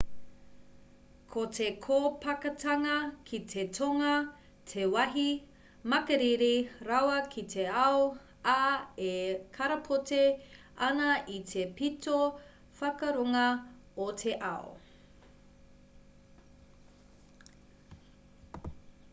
ko te kōpakatanga ki te tonga te wāhi makariri rawa ki te ao ā e karapoti ana i te pito whakarunga o te ao